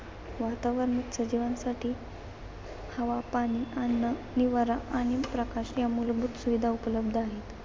वातावरणात सजीवांसाठी हवा, पाणी, अन्न, निवारा आणि प्रकाश या मूलभूत सुविधा उपलब्ध आहेत.